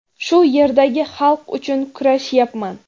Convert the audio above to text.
shu yerdagi xalq uchun kurashayapman.